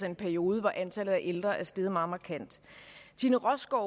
en periode hvor antallet af ældre er steget meget markant tine rostgaard